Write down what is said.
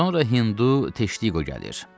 Sonra Hindu Teşdiqo gəlir.